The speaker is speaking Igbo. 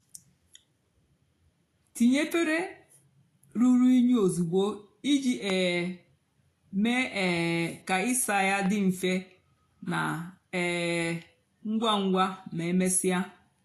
tinye efere rúrú unyi ozugbo íjì um mée um kà ịsá yá dị mfè nà um ngwa ngwa mà emesíá.